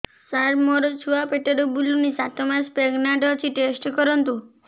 ସାର ମୋର ଛୁଆ ପେଟରେ ବୁଲୁନି ସାତ ମାସ ପ୍ରେଗନାଂଟ ଅଛି ଟେଷ୍ଟ କରନ୍ତୁ